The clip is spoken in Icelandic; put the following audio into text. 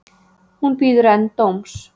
Hún bíður enn dóms